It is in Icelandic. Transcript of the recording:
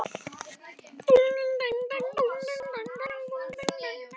Svo var byrjað að draga línuna að landi.